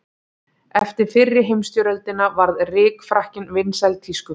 Eftir fyrri heimsstyrjöldina varð rykfrakkinn vinsæl tískuflík.